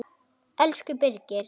Elsku Birgir.